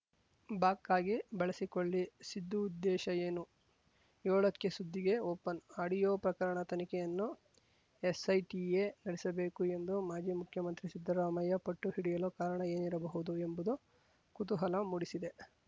ಬಾಕ್ ಆಗಿ ಬಳಸಿಕೊಳ್ಳಿ ಸಿದ್ದು ಉದ್ದೇಶ ಏನು ಯೋಳಕ್ಕೆ ಸುದ್ದಿಗೆ ಓಪನ್‌ ಆಡಿಯೋ ಪ್ರಕರಣ ತನಿಖೆಯನ್ನು ಎಸ್‌ಐಟಿಯೇ ನಡೆಸಬೇಕು ಎಂದು ಮಾಜಿ ಮುಖ್ಯಮಂತ್ರಿ ಸಿದ್ದರಾಮಯ್ಯ ಪಟ್ಟು ಹಿಡಿಯಲು ಕಾರಣ ಏನಿರಬಹುದು ಎಂಬುದು ಕುತೂಹಲ ಮೂಡಿಸಿದೆ